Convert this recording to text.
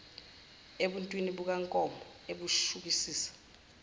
ebuntwini bukankomo ebushukisisa